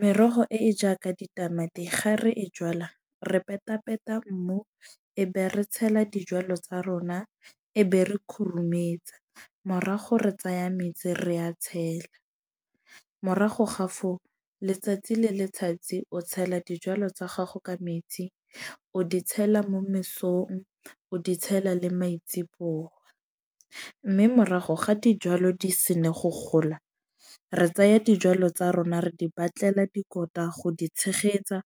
Merogo e e jaaka ditamati ga re e jalwa re penta penta mmu, e be re tshela dijwalo tsa rona. E be re khurumetsa, morago re tsaya metsi re a tshela. Morago ga foo letsatsi le letsatsi o tshela dijwalo tsa gago ka metsi. O di tshela mo mesong, o di tshela le maitsebo . Mme morago ga dijwalo di senna go gola, re tsaya dijwalo tsa rona re di batlela dikotla go di tshegetsa,